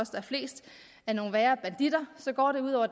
er flest er nogle værre banditter går det ud over